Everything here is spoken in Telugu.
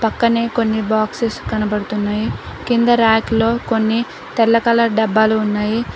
పక్కనే కొన్ని బాక్స్స్ కనపడుతున్నాయి కింద ర్యాక్లో కొన్ని తెల్ల కలర్ డబ్బాలు ఉన్నాయి.